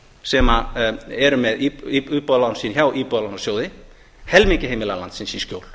sem eru með íbúðalán sín hjá íbúðalánasjóði helmingi heimila landsins í skjól